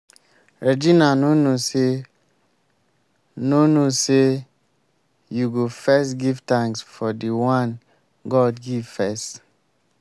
regina no know say no know say you go first give thanks for the one god give first